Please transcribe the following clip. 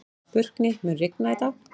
Burkni, mun rigna í dag?